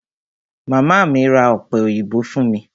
Màmá mi ra ọ̀pẹ òyìnbó fún mi.